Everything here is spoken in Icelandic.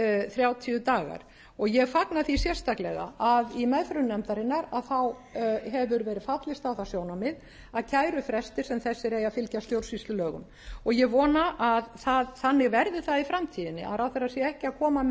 þrjátíu dagar og ég fagna því sérstaklega að í meðförum nefndarinnar hefur verið fallist á það sjónarmið að kærufrestir sem þessir eigi að fylgja stjórnsýslulögum og ég vona að þannig það verði það í framtíðinni að ráðherra sé